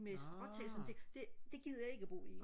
med stråtag og sådan det det gider jeg ikke og bo i